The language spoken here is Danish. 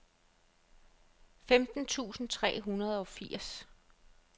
femten tusind tre hundrede og firs